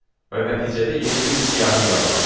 və nəticədə yeni bir siyahı yaranır.